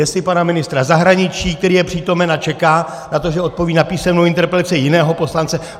Jestli pana ministra zahraničí, který je přítomen a čeká na to, že odpoví na písemnou interpelaci jiného poslance.